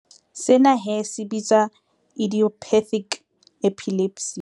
Sena he se bitswa idiopathic epilepsy.